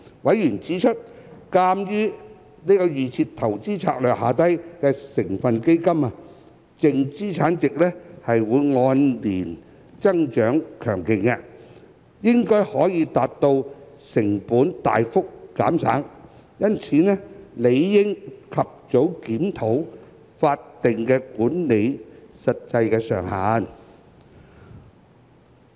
委員指出，鑒於預設投資策略下成分基金的淨資產值按年增長強勁，應該可達到成本大幅減省，因此理應及早檢討法定管理費的實際上限。